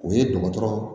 O ye dɔgɔtɔrɔ